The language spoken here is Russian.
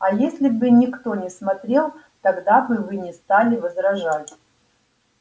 а если бы никто не смотрел тогда бы вы не стали возражать